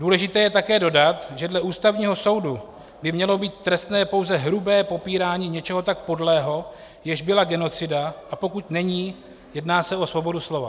Důležité je také dodat, že dle Ústavního soudu by mělo být trestné pouze hrubé popírání něčeho tak podlého, jež byla genocida, a pokud není, jedná se o svobodu slova.